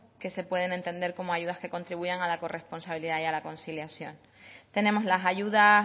que se pueden entender como ayudas que contribuyen a la corresponsabilidad y la conciliación tenemos las ayudas